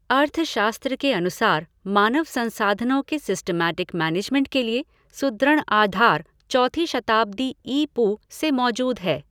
अर्थशास्त्र के अनुसार मानव संसाधनों के सिस्टमैटिक मेनेजमेंट के लिए सुदृण आधार चौथी शताब्दी ई पू से मौजूद है।